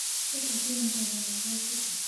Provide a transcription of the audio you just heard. Njata cionekaga wega ũtukũ.